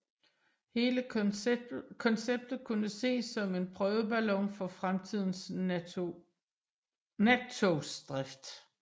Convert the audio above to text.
Hele konceptet kunne ses som en prøveballon for fremtidens nattogsdrift